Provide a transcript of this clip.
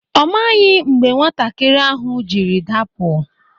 Ọ maghị mgbe nwatakịrị ahụ jiri dapụ.